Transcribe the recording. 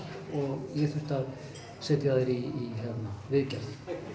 og ég þurfti að setja þær í viðgerð